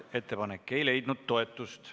Ettepanek ei leidnud toetust.